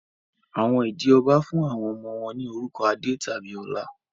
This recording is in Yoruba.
Àwọn ìdí ọbá fún àwọn ọmọ wọ́n ní orúkọ Adé tàbí Ọlá